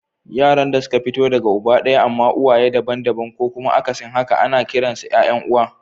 Yaran da suka fito daga uba daya amma uwaye daban-daban ko kuma akasin haka ana kiransu ‘ya’yan uwa.